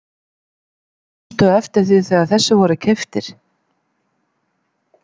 Manstu eftir því þegar þessir voru keyptir?